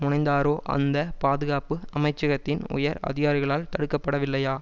முனைந்தாரோ அந்த பாதுகாப்பு அமைச்சகத்தின் உயர் அதிகாரிகளால் தடுக்கப்படவில்லையா